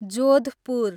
Jodhpur